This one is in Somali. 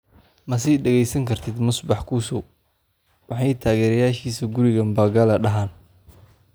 Ma sii dhageysan kartid Musbax kusow: Maxay taageerayaashiisa guriga Mbagala dhahaan?